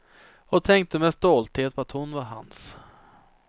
Och tänkte med stolthet på att hon var hans.